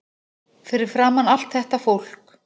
Fyrir framan allt þetta fólk.